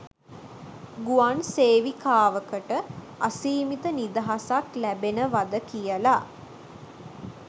ගුවන් සේවිකාවකට අසීමිත නිදහසක් ලැබෙනවද කියලා